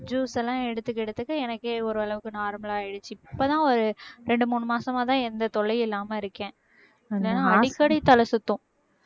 juice எல்லாம் எடுத்துக்க எடுத்துக்க எனக்கே ஓரளவுக்கு normal ஆயிடுச்சு இப்பதான் ஒரு ரெண்டு மூணு மாசமாதான் எந்த தொல்லையும் இல்லாம இருக்கேன் இல்லனா அடிக்கடி தலை சுத்தும்